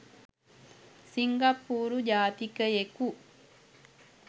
සිංගප්පූරු ජාතිකයෙකු